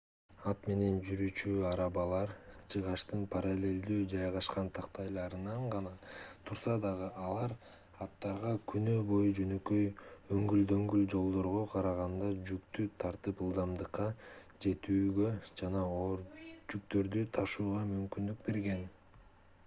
ат менен жүрүүчү арабалар жыгачтын параллелдүү жайгашкан тактайларынан гана турса дагы алар аттарга күнү бою жөнөкөй өңгүл-дөңгүл жолдорго караганда жүктү тартып ылдамдыкка жетүүгө жана оор жүктөрдү ташууга мүмкүндүк берген